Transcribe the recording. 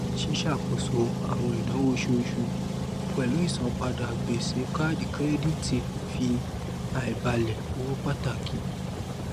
ṣíṣàkóso àwọn ináwó oṣooṣu pẹlú ìsanpadà gbèsè káàdì kírẹdítì ń fa àìbálẹ owó pàtàkì